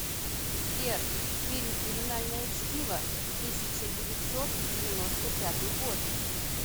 сбер фильм криминальное чтиво тысяча девятьсот девяносто пятый год